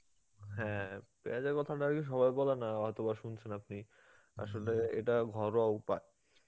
হ্যাঁ পিয়াজের কথাটাকি সবাই বলে না অথবা শুনছেন আপনি, আসেল এটা ঘরোয়া উপায়.